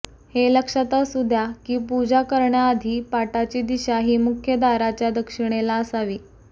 हे लक्षात असू द्या की पूजा करण्याआधी पाटाची दिशा ही मुख्य दाराच्या दक्षिणेला असावी